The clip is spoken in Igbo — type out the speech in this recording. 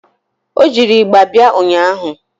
Ọ jiri ịgba bịa ụnyaahụ